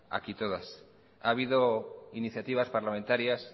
aquí todas ha habido iniciativas parlamentarias